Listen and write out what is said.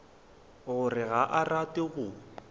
gore ga a rate go